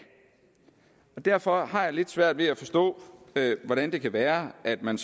derfor har jeg lidt svært ved at forstå hvordan det kan være at man